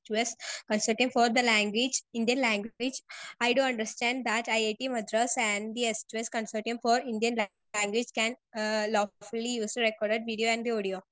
Speaker 2 2 S consortium for the language in their language I do understand that it Madras and the S two S consortium for Indian languages can lawfully use the record video and the audio.